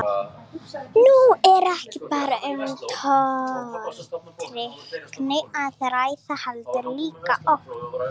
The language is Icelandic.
Nú er ekki bara um tortryggni að ræða heldur líka ótta.